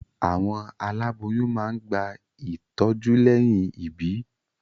Àwọn aláboyún máa ń gba ìtọ́jú lẹ́yìn ìbí.